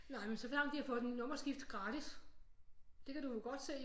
Nej men såfremt de har fået nummerskift gratis det kan du jo godt se